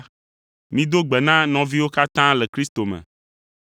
Mido gbe na nɔviwo katã le Kristo me.